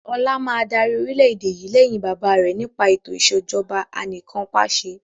Ọlá máa dárí orìlẹ̀dé yìí lẹ́yìn bàbá rẹ̀ nípa eto ìsèjọba anìkanpàṣẹ